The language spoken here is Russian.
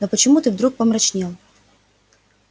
но почему ты вдруг помрачнел